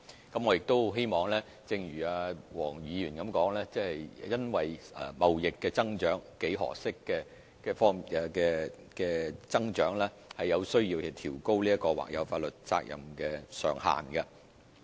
我亦很希望正如黃議員所言，因為看到貿易幾何式的增長而有需要調高或有法律責任上限。